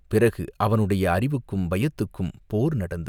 பிறகு அவனுடைய அறிவுக்கும் பயத்துக்கும் போர் நடந்தது.